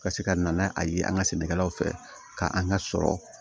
Ka se ka na n'a ye an ka sɛnɛkɛlaw fɛ ka an ka sɔrɔ